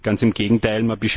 Ganz im Gegenteil!